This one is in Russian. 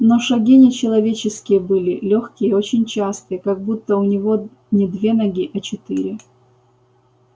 но шаги не человеческие были лёгкие и очень частые как будто у него не две ноги а четыре